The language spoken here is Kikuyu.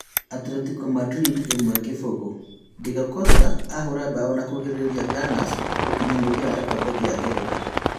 Atletico Madrid imwe- kĩbũgũ : Diego Costa ahũra mbao na kũNgirĩrĩria Gunners gũkinya mũthia wa gĩkombe kĩa ngeretha